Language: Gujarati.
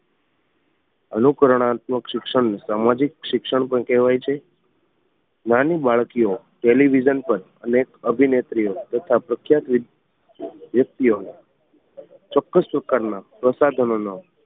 અનુકરણાત્મક શિક્ષણ ને સામાજિક શિક્ષણ પણ કહેવાય છે નાની બાળકીઓ ટેલિવિઝન પર અનેક અભિનેત્રીઓ તથા પ્રખ્યાત વ્યક્તિઓ ને ચોક્કસ પ્રકાર ના પ્રસાધનો નો